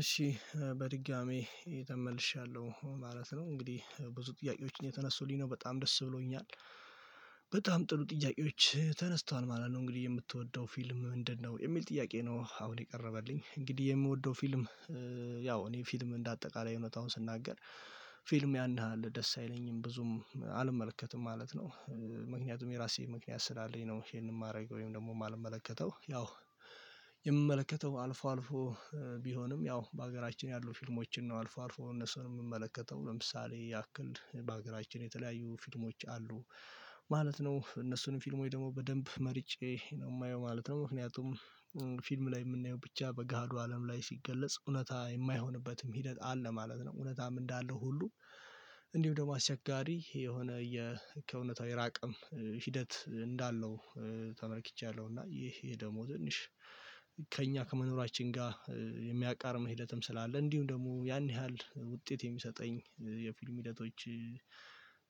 እሺ በድጋሚ የተመልሻለሁ ማለት ነው እንግዲህ ብዙ ጥያቄዎችን እየተነሱልኝ ነው በጣም ደስ ብሎኛል። በጣም ጥሩ ጥያቄዎች ተነስቷል ማለት ነው። እንግዲህ የምትወደው ፊልም ምንድነው የሚል ጥያቄ ነው? አሁን የቀረበልኝ እንግዲህ የምወደው ፊልም ያው እኔ ፊልም እንደ አጠቃላይ እውነታው ስናገር ፊልም ያንን አለ ደስ አይለኝም ብዙም አልመለከትም ማለት ነው። ምክንያቱም የራሴ ምክንያት ስላለኝ ነው። ይሄንን ማድረግ ወይም ደግሞ የማልመለከተው ያው የምመለከተው አልፎ አልፎ። ቢሆንም ያው በሀገራችን ያሉ ፊልሞችን ነው አልፎ አልፎ እነሱንም የምመለከተው ለምሳሌ ያክል በሀገራችን የተለያዩ ፊልሞች አሉ። ማለት ነው እነሱንም ፊልሞች ደግሞ በደንብ መርጬ ነው የማየው ማለት ነው። ምክንያቱም ፊልም ላይ የምናየው ብቻ በገሃዱ አለም ላይ ሲገለጽ እውነት የማይሆንበትም ሂደት አለ ማለት ነው። እውነትም እንዳለ ሁሉ እንዲሁ ደግሞ አስቸጋሪ የሆነ ከእውነታው የራቀም ሂደት እንዳለው ተመልክቻለሁ። እና ይሄ ደግሞ ትንሽ ከእኛ ከመኖራችን ጋር የሚያቃርም መሄደትም ስላለ እንዲሁ ደግሞ ያን ያህል ውጤት የሚሰጠኝ የፊልም ሂደቶች።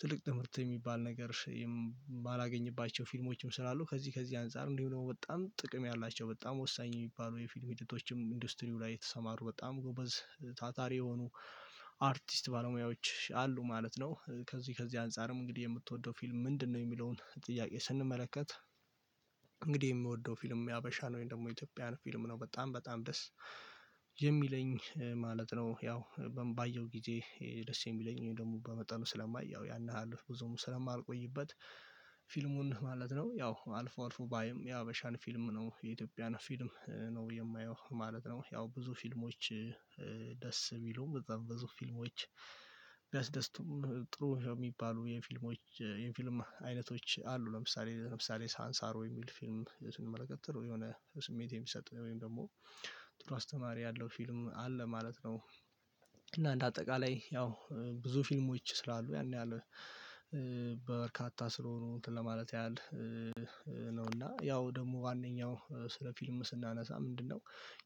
ትልቅ ትምህርት የሚባል ነገር የማላገኝባቸው ፊልሞችም ስላሉ ከዚህ ከዚህ አንፃር እንዲሁ ደግሞ በጣም ጥቅም ያላቸው በጣም ወሳኝ የሚባሉ የፊል ሂደቶችም ኢንዱስትሪው ላይ የተሰማሩ በጣም ጎበዝ ታታሪ የሆኑ አርቲስት ባለሙያዎች አሉ ማለት ነው። ከዚህ ከዚህ አንፃርም እንግዲህ የምትወደው ፊልም ምንድነው የሚለውን ጥያቄ ስንመለከት? የምወደው ፊልም የሀበሻ ነው ወይም ደግሞ የኢትዮጵያን ፊልም ነው በጣም በጣም ደስ የሚለኝ ማለት ነው። ያው ባየው ጊዜ ደስ የሚለኝ ደግሞ በመጠኑ ስለማይ ያን ያህል ብዙም ስለማልቆይበት ፊልሙን ማለት ነው ያው አልፎ አልፎ ባይም የሀበሻን ፊልም ነው የኢትዮጵያን ፊልም ነው የማየው ማለት ነው። ያው ብዙ ፊልሞች ደስ ቢሉም በጣም ብዙ ፊልሞች ቢያስደስቱም ጥሩ የሚባሉ የፊልሞች የፊልም አይነቶች አሉ ለምሳሌ ለምሳሌ ሳንሳሮ የሚል ፊልም ስንመለከት የሆነ ስሜት የሚሰጠው ወይም ደግሞ ጥሩ አስተማሪ ያለው ፊልም አለ ማለት ነው። እና እንደ አጠቃላይ ያው ብዙ ፊልሞች ስላሉ ያን ያህል በበርካታ ስለሆኑ እንትን ለማለት ያህል ነው እና ያው ደግሞ ዋነኛው ስለ ፊልም ስናነሳ ምንድነው?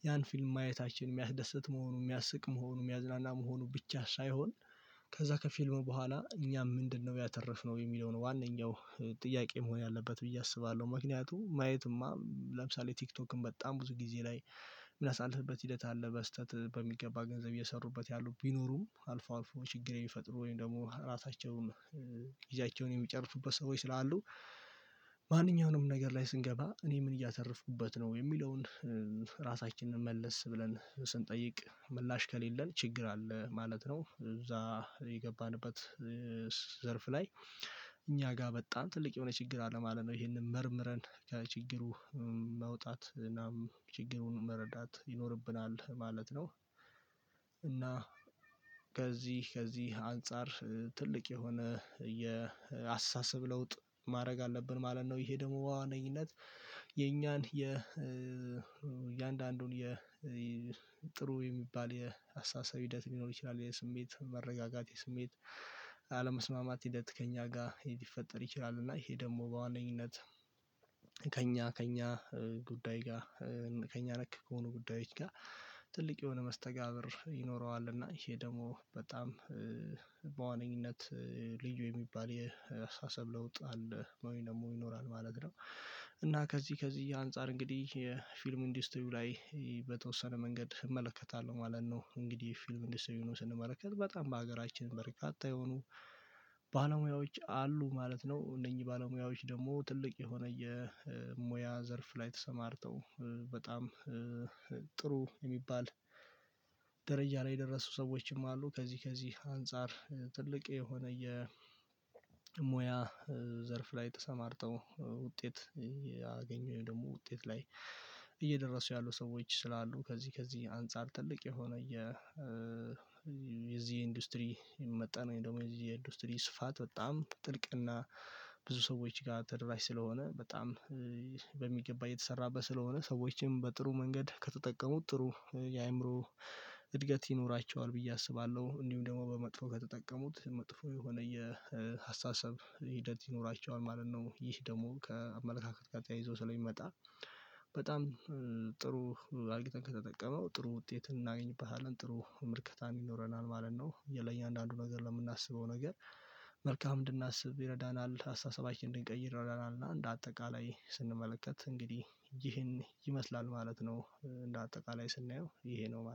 ያን ፊልም ማየታችን የሚያስደስት መሆኑ የሚያስቅ መሆኑ የሚያዝናና መሆኑ ብቻ ሳይሆን ከዛ ከፊልሙ በኋላ እኛ ምንድነው ያተረፍነው የሚለውን ዋነኛው ጥያቄ መሆን ያለበት ብዬ አስባለሁ። ምክንያቱም ማየትማ ለምሳሌ ቲክቶክን በጣም ብዙ ጊዜ ላይ የምናሳልፍበት ሂደት አለ። በስህተት በሚገባ ገንዘብ እየሰሩበት ያሉ ቢኖሩም አልፎ አልፎ ችግር የሚፈጥሩ ወይም ደግሞ ራሳቸውን ጊዜያቸውን የሚጨርሱበት ሰዎች ስላሉ ማንኛውንም ነገር ላይ ስንገባ እኔ ምን እያተረፉኩበት ነው የሚለውን መለስ ብለን ስንጠይቅ ምላሽ ከሌለን ችግር አለ ማለት ነው። እዛ የገባንበት ዘርፍ ላይ እኛ ጋር በጣም ትልቅ የሆነ ችግር አለማለት ነው ይሄንን መርምረን ከችግሩ መውጣት እናም ችግሩን መረዳት ይኖርብናል ማለት ነው። ከዚህ ከዚህ አንፃር ትልቅ የሆነ የአስተሳሰብ ለውጥ ማድረግ አለብን ማለት ነው ይሄ ደግሞ በዋነኝነት ነኝነት የኛን የ የጥሩ የሚባል የአስተሳሰብ ሂደት ሊኖር ይችላል። የስሜት መረጋጋት የስሜት አለመስማማት ሂደት ከእኛ ጋር ሊፈጠር ይችላል። እና ይሄ ደግሞ በዋነኝነት ከእኛ ከእኛ ጉዳይ ጋር ከእኛ ነክ ከሆኑ ጉዳዮች ጋር ትልቅ የሆነ መስተጋብር ይኖረዋል እና ይሄ ደግሞ በጣም በዋነኝነት ልዩ የሚባል የአስተሳሰብ ለውጥ አለ ወይ ደግሞ ይኖራል ማለት ነው። እና ከዚህ ከዚህ አንፃር እንግዲህ የፊልም ኢንዲስቲሪው ላይ በተወሰነ መንገድ እመለከታለሁ ማለት ነው እንግዲህ ፊልም ኢንዲስቲሪው ሆኖ ስንመለከት በጣም በሀገራችን በርካታ የሆኑ ባለሙያዎች አሉ ማለት ነው። እነኚህ ባለሙያዎች ደግሞ ትልቅ የሆነ የሙያ ዘርፍ ላይ ተሰማርተው በጣም ጥሩ የሚባል ደረጃ ላይ የደረሱ ሰዎችም አሉ። ከዚህ ከዚህ አንፃር ትልቅ የሆነ የሙያ ዘርፍ ላይ ተሰማርተው ውጤት ያገኙ ደግሞ ውጤት ላይ እየደረሱ ያሉ ሰዎች ስላሉ ከዚህ ከዚህ አንፃር ትልቅ የሆነ የ የዚህ ኢንዱስትሪ መጠን ወይንም ደግሞ የኢንዱስትሪ ስፋት በጣም ጥልቅና ብዙ ሰዎች ጋር ተደራሽ ስለሆነ በጣም በሚገባ የተሰራበት ስለሆነ ሰዎችም በጥሩ መንገድ ከተጠቀሙት ጥሩ የአእምሮ እድገት ይኖራቸዋል ብዬ አስባለሁ እንዲሁም ደግሞ በመጥፎ ከተጠቀሙት መጥፎ የሆነ የአስተሳሰብ ሂደት ይኖራቸዋል ማለት ነው። ይህ ደግሞ ከአመለካከት ጋር ተያይዞ ስለሚመጣ በጣም ጥሩ አርግተን ከተጠቀምነው ጥሩ ውጤት እናገኝበታለን ጥሩ ምልከታም ይኖረናል ማለት ነው። የለኝ አንዳንዱ ነገር ለምናስበው ነገር መልካም እንድናስብ ይረዳናል አስተሳሰባችንን እድቀይር ይረዳናል እና እንደ አጠቃላይ ስንመለከት እንግዲህ ይህን ይመስላል ማለት ነው። እንደ አጠቃላይ ስናየው ይሄ ነው ማለት ነው